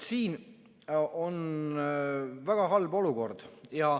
Siin on väga halb olukord.